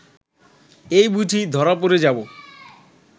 এই বুঝি ধরা পড়ে যাব